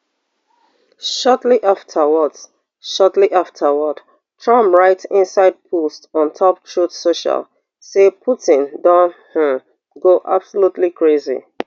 shortly afterwards shortly afterwards trump write inside post ontop truth social say putin don um go absolutely crazy